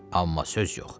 Amma söz yox.